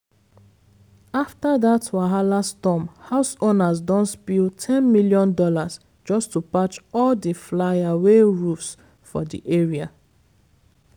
after dat wahala storm, house owners don spill ten million dollars just to patch all di'fly-away roofs for di area.